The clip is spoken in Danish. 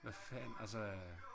Hvad fanden altså øh